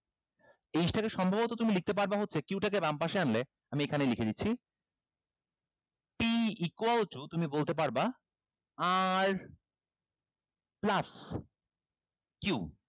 এই জিনিসটাকে সম্ভবত তুমি লিখতে পারবা হচ্ছে q টাকে বামপাশে আনলে আমি এখানে লিখে দিচ্ছি p equal to তুমি বলতে পারবা r plus q